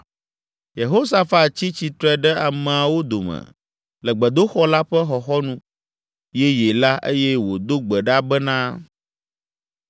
Yehosafat tsi tsitre ɖe ameawo dome le gbedoxɔ la ƒe xɔxɔnu yeye la eye wòdo gbe ɖa bena,